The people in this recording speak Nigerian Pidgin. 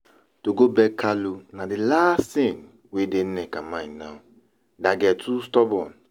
To go beg Kalu na the last thing wey dey Nneka mind now, that girl too stubborn